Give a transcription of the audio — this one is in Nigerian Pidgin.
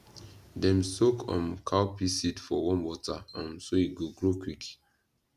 dem soak um cowpea seed for warm water um so e go grow quick